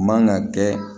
Man ka kɛ